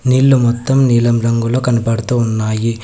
నీళ్లు మొత్తం నీలం రంగులో కనపడుతు ఉన్నాయి.